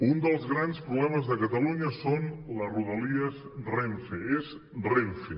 un dels grans problemes de catalunya són les rodalies renfe és renfe